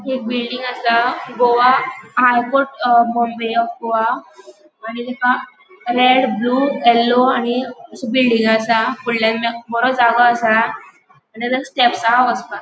एक बिल्डिंग आसा Goa high court uh Bombay of Goa आणि तिका रेड ब्लू येलो आणि बिल्डिंग आसा फूडल्याण बोरो जागो आसा आणि तेका स्टेप्स हा वसपाक.